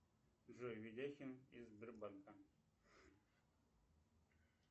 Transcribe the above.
джой ведяхин из сбербанка